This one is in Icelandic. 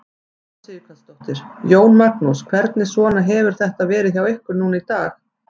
Una Sighvatsdóttir: Jón Magnús, hvernig svona hefur þetta verið hjá ykkur núna í dag?